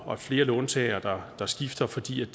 og flere låntagere der skifter fordi det